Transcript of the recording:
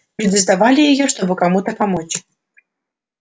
люди сдавали её чтобы кому-то помочь